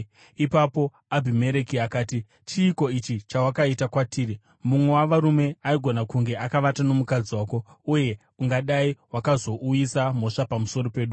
Ipapo Abhimereki akati, “Chiiko ichi chawakaita kwatiri? Mumwe wavarume aigona kunge akavata nomukadzi wako, uye ungadai wakazouyisa mhosva pamusoro pedu.”